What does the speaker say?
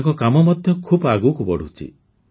ତାଙ୍କ କାମ ମଧ୍ୟ ଖୁବ୍ ଆଗକୁ ବଢ଼ୁଛି